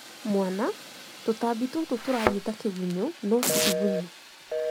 Mwana-"tũtambi tũtũ tũrathiĩ ta kĩgunyũ, no ti iguntũ?"